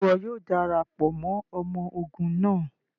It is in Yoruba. Ṣe iwọ yoo darapọ mọ ọmọ ogun naa?